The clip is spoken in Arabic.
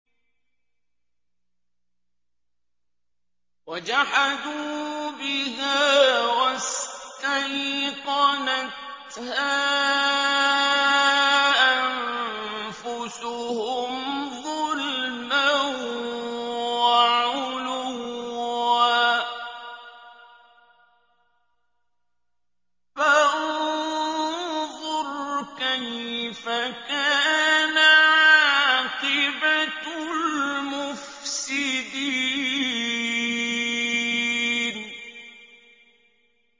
وَجَحَدُوا بِهَا وَاسْتَيْقَنَتْهَا أَنفُسُهُمْ ظُلْمًا وَعُلُوًّا ۚ فَانظُرْ كَيْفَ كَانَ عَاقِبَةُ الْمُفْسِدِينَ